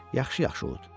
Yaxşı-yaxşı ud.